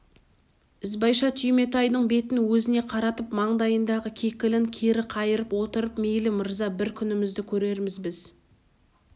ізбайша түйметайдың бетін өзіне қаратып маңдайындағы кекілін кері қайырып отырып мейлі мырза бір күнімізді көрерміз біз